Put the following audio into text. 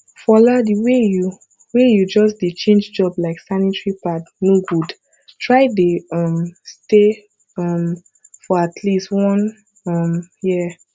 fola the way you way you just dey change job like sanitary pad no good try dey um stay um for atleast one um year